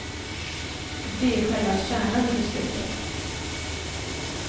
Det är själva kärnan i beslutet.